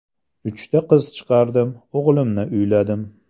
Uchta qiz chiqardim, o‘g‘limni uyladim.